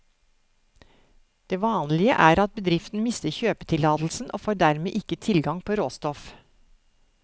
Det vanlige er at bedriften mister kjøpetillatelsen og får dermed ikke tilgang på råstoff.